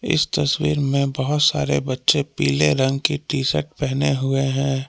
इस तस्वीर में बहोत सारे बच्चें पीले रंग के टी शर्ट पहने हुवे हैं।